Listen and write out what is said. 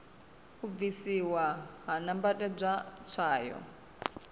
u bvisiwa ha nambatedzwa tswayo